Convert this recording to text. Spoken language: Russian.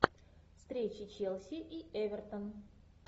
встреча челси и эвертон